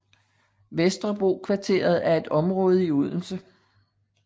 Vesterbrokvarteret er et område i Odense